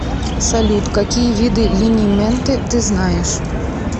салют какие виды линименты ты знаешь